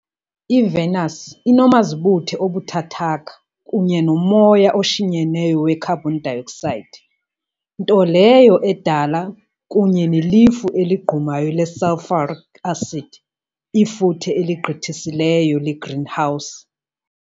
IVenus inomazibuthe obuthathaka kunye nomoya oshinyeneyo wekharbhon dayoksayidi, nto leyo edala, kunye nelifu eligqumayo le-sulfuric acid, ifuthe eligqithisileyo legreenhouse .